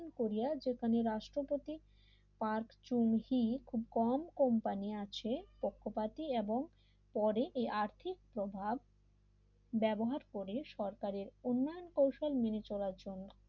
কোরিয়ার যেখানে রাষ্ট্রপতিই পার্ট চুন হি খুব কম কোম্পানি আছে পক্ষপাতী এবং পরেই আর্থিক প্রভাব ব্যবহার করে সরকারের উন্নয়ন কৌশল মেনে চলার জন্য